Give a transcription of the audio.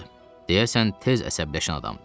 Deyəsən tez əsəbləşən adamdır.